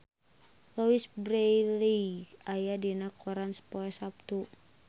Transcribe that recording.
Louise Brealey aya dina koran poe Saptu